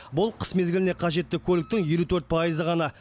бұл қыс мезгіліне қажетті көліктің елу төрт пайызы ғана